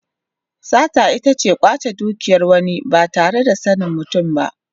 Sata ita ce kwace dukiyar wani ba tare da sanin mutum ba.